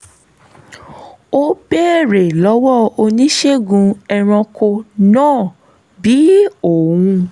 ó béèrè lọ́wọ́ oníṣègùn ẹranko náà bí òun